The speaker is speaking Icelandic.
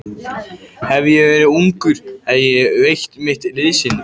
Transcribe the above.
Hefði ég verið ungur, þá hefði ég veitt mitt liðsinni.